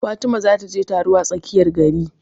Fatima za ta je taro a tsakiyar gari